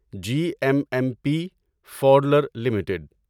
جی M M P فاڈلر limited